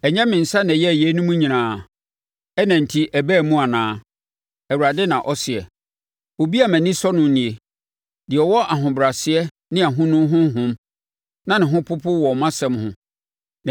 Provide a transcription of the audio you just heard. Ɛnyɛ me nsa na ɛyɛɛ yeinom nyinaa, ɛna enti ɛbaa mu anaa?” Awurade na ɔseɛ. “Obi a mʼani sɔ no nie: deɛ ɔwɔ ahobrɛaseɛ ne ahonu honhom, na ne ho popo wɔ mʼasɛm ho.